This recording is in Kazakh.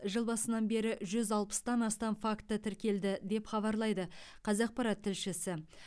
жыл басынан бері жүз алпыстан астам факті тіркелді деп хабарлайды қазақпарат тілшісі